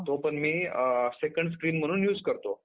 आता तो इथं